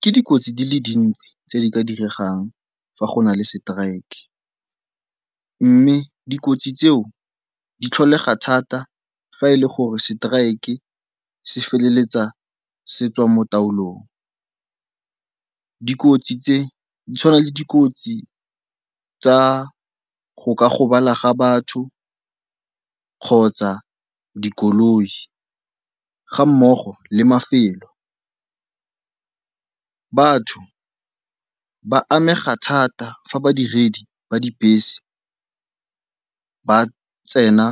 Ke dikotsi di le dintsi tse di ka diregang fa go na le seteraeke mme dikotsi tseo di tlholega thata fa e le gore seteraeke se feleletsa se tswa mo taolong. Dikotsi tse di tshwana le dikotsi tsa go ka gobala ga batho kgotsa dikoloi ga mmogo le mafelo. Batho ba amega thata fa badiredi ba dibese ba tsena